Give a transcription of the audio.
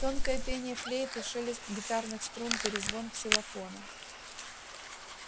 тонкое пение флейты шелест гитарных струн перезвон ксилофона